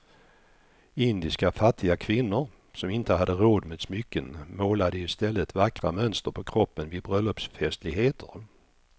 Indiska fattiga kvinnor som inte hade råd med smycken målade i stället vackra mönster på kroppen vid bröllopsfestligheter.